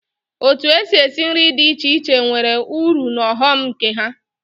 Otu èsị́ esi nri dị iche iche nwere ụrụ na ọghọm nke ha.